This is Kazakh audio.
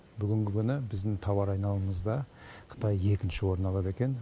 бүгінгі күні біздің тауар айналымымызда қытай екінші орын алады екен